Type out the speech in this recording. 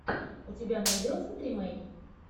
у тебя найдется тримей